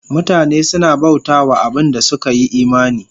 Mutane suna bauta wa abin da suka yi imani